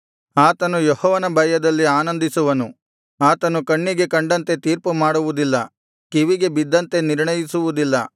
ಆತನು ಯೆಹೋವನ ಭಯದಲ್ಲಿ ಆನಂದಿಸುವನು ಆತನು ಕಣ್ಣಿಗೆ ಕಂಡಂತೆ ತೀರ್ಪು ಮಾಡುವುದಿಲ್ಲ ಕಿವಿಗೆ ಬಿದ್ದಂತೆ ನಿರ್ಣಯಿಸುವುದಿಲ್ಲ